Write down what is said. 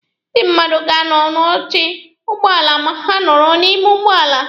Ndị mmadụ ga-anọdụ n'oche ụgbọala ma ha nọrọ n'ime ụgbọala.